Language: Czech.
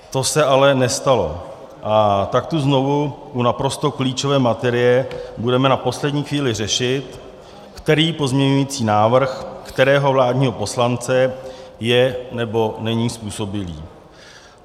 To se ale nestalo, a tak tu znovu u naprosto klíčové materie budeme na poslední chvíli řešit, který pozměňovací návrh kterého vládního poslance je nebo není způsobilý.